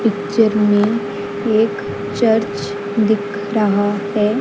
Picture में एक church दिख रहा है।